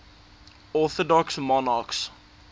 orthodox monarchs